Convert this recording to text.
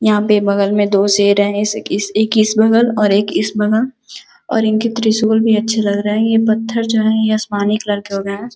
यहाँ पे बगल में दो शेर हैं जैसे कि एक इस बगल और एक इस बगल और इनके त्रिशूल भी अच्छे लग रहे हैं ये पत्थर जो है ये असमानी कलर के हो गये हैं।